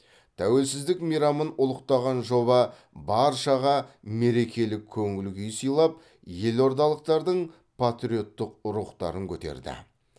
тәуелсіздік мейрамын ұлықтаған жоба баршаға мерекелік көңіл күй сыйлап елордалықтардың патриоттық рухтарын көтерді